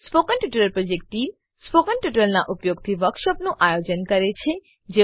spoken tutorial project team spoken ટ્યુટોરીયલોનાં ઉપયોગથી વર્કશોપોનું આયોજન કરે છે